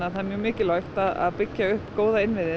það er mjög mikilvægt að byggja upp góða innviði